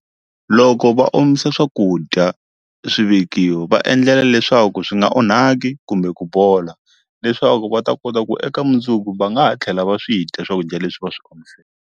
Loko va omise swakudya swivekiwa va endlela leswaku swi nga onhaki kumbe ku bola leswaku va ta kota ku eka mundzuku va nga ha tlhela va swi dya swakudya leswi va swi omiseke.